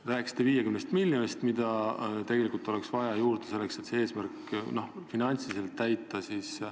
Te rääkisite 50 miljonist, mida tegelikult oleks juurde vaja, selleks et seda eesmärki finantsiliselt täita.